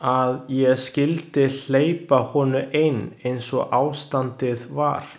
Að ég skyldi hleypa honum inn eins og ástandið var.